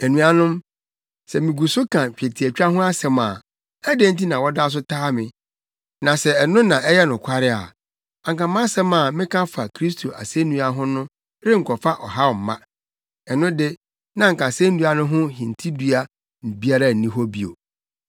Anuanom, sɛ migu so ka twetiatwa ho asɛm a, adɛn nti na wɔda so taa me? Na sɛ ɛno na ɛyɛ nokware a, anka mʼasɛm a meka fa Kristo asennua ho no renkɔfa ɔhaw mma. Ɛno de, na anka asennua no ho hintidua biara nni hɔ bio.